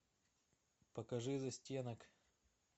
покажи застенок